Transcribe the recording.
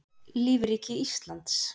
lífríki íslands